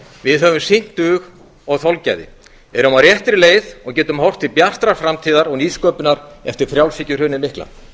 við höfum sýnt dug og þolgæði erum á réttri leið og getum horft til bjartrar framtíðar og nýsköpunar eftir frjálshyggjuhrunið mikla